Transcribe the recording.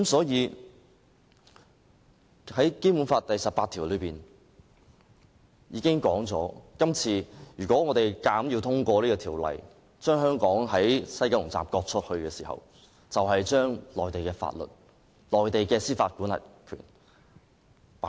因此，按照《基本法》第十八條的規定，如果我們這次硬要通過《條例草案》，把香港的西九龍站割出去，就是在香港的土地實施內地法律及剔走司法管轄權。